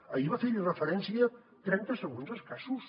ahir va fer hi referència trenta segons escassos